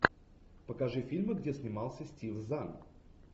покажи фильмы где снимался стив зан